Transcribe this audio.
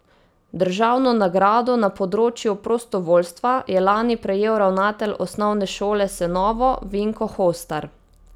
Državno nagrado na področju prostovoljstva je lani prejel ravnatelj Osnovne šole Senovo Vinko Hostar.